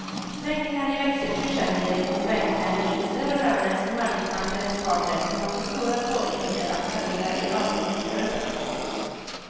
Svängningar i växelkursen leder till svängningar i vinster och löner som arbetsmarknadens parter kommer att få stora svårigheter att parera i avtalsrörelserna.